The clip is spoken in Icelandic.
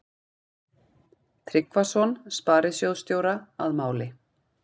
Tryggvason sparisjóðsstjóra að máli.